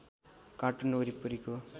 cartoon वरिपरिको